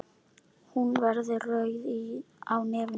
Hún verður rauð á nefinu.